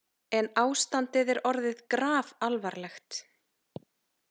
En ástandið er orðið grafalvarlegt.